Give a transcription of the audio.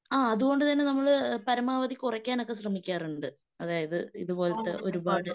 ആ അതുകൊണ്ടുതന്നെ നമ്മള് പരമാവധി കുറക്കാനൊക്കെ ശ്രമിക്കാറുണ്ട്. അതായത് ഇതുപോലത്തെ ഒരുപാട്